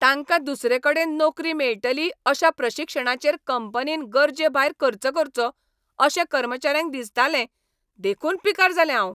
तांकां दुसरेकडेन नोकरी मेळटली अशा प्रशिक्षणाचेर कंपनीन गरजेभायर खर्च करचो अशें कर्मचाऱ्यांक दिसतालें देखून पिकार जालें हांव.